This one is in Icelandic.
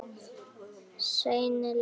Seinni leikur